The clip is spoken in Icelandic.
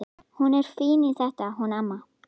Hún er fín í þetta hún amma.